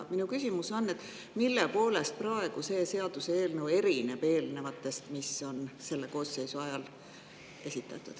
Minu küsimus on, et mille poolest erineb see praegune seaduseelnõu eelnevatest eelnõudest, mis on selle koosseisu ajal esitatud.